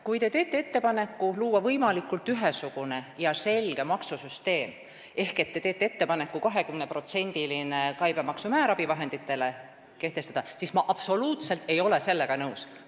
Kui te teete ettepaneku luua võimalikult ühesugune ja selge maksusüsteem ehk kehtestada abivahenditele käibemaksu määr 20%, siis sellega ma ei ole absoluutselt nõus.